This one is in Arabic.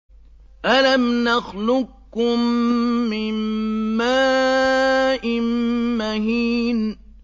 أَلَمْ نَخْلُقكُّم مِّن مَّاءٍ مَّهِينٍ